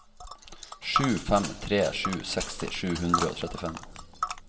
sju fem tre sju seksti sju hundre og trettifem